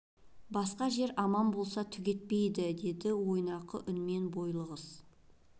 басқа жер аман болса түк етпейді деді ойнақы үнімен бойлы қыз